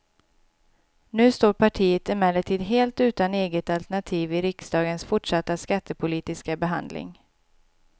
Nu står partiet emellertid helt utan eget alternativ i riksdagens fortsatta skattepolitiska behandling.